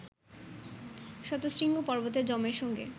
শতশৃঙ্গ পর্বতে যমের সঙ্গে